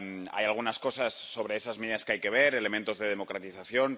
Hay algunas cosas sobre esas medidas que hay que ver, elementos de democratización.